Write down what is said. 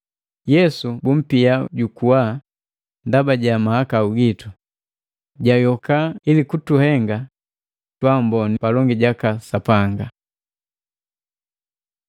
Yesu bumpia jukuwa ndaba ja mahakau gitu, jayoka ili kutuhenga twaamboni palongi jaka Sapanga.